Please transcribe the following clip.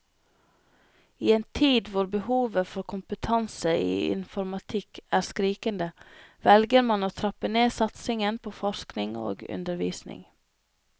I en tid hvor behovet for kompetanse i informatikk er skrikende, velger man å trappe ned satsingen på forskning og undervisning.